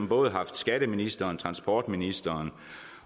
både haft skatteministeren transportministeren